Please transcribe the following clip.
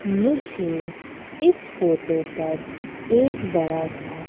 मुझे इस फोटो पर एक बड़ा सा--